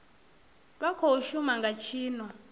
vha khou shuma nga tshino